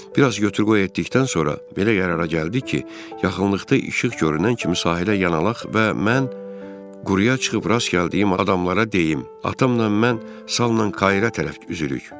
Bir az götür-qoy etdikdən sonra belə qərara gəldik ki, yaxınlıqda işıq görünən kimi sahilə yanalaq və mən quruya çıxıb rast gəldiyim adamlara deyim: atamla mən salla Kaira tərəf üzürük.